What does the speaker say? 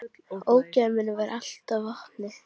Ógæfu minni varð allt að vopni.